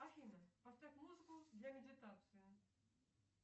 афина поставь музыку для медитации